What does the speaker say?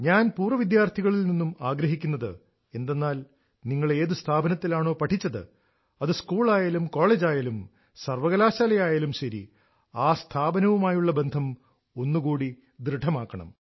ഞാൻ പൂർവ വിദ്യാർഥികളിൽ നിന്നും ആഗ്രഹിക്കുന്നത് എന്തെന്നാൽ നിങ്ങൾ ഏതു സ്ഥാപനത്തിലാണോ പഠിച്ചത് അത് സ്കൂളായാലും കോളേജായാലും സർവകലാശാലയായാലും ശരി ആ സ്ഥാപനവുമായുള്ള ബന്ധം ഒന്ന് കൂടി ദൃഢമാക്കണം